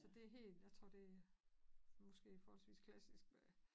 Det helt jeg tror det måske forholdsvist klassisk øh